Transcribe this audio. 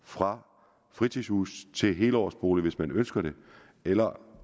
fra fritidshus til helårsbolig hvis man ønsker det eller